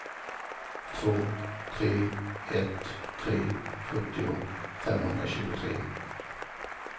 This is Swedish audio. två tre ett tre sjuttio femhundratjugotre